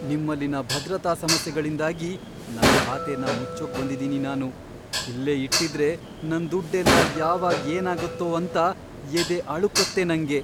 ನಿಮ್ಮಲ್ಲಿನ ಭದ್ರತಾ ಸಮಸ್ಯೆಗಳಿಂದಾಗಿ ನನ್ ಖಾತೆನ ಮುಚ್ಚೋಕ್ ಬಂದಿದೀನಿ ನಾನು. ಇಲ್ಲೇ ಇಟ್ಟಿದ್ರೆ ನನ್ ದುಡ್ಡೆಲ್ಲ ಯಾವಾಗ್ ಏನಾಗತ್ತೋ ಅಂತ ಎದೆ ಅಳುಕತ್ತೆ ನಂಗೆ.